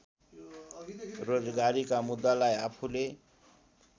रोजगारीका मुद्दालाई आफूले